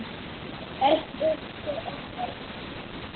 Eitt uppi og eitt niðri.